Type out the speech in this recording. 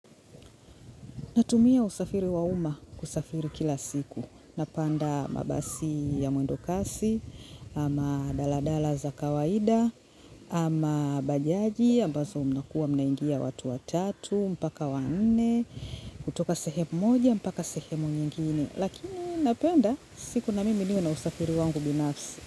Natumia usafiri wa umma kusafiri kila siku. Napanda mabasi ya mwendokasi, ama daladala za kawaida, ama bajaji, ambazo mnakuwa mnaingia watu watatu, mpaka wanne, kutoka sehemu moja, mpaka sehemu nyingine. Lakini napenda siku na mimi niwe na usafiri wangu binafsi.